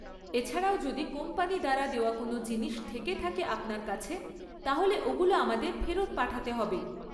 এছাড়াও যদি কোম্পানি দ্বারা দেওয়া কোনও জিনিস থেকে থাকে আপনার কাছে তাহলে ওগুলো আমাদের ফেরত পাঠাতে হবে।